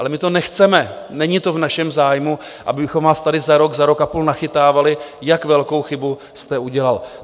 Ale my to nechceme, není to v našem zájmu, abychom vás tady za rok, za rok a půl nachytávali, jak velkou chybu jste udělal.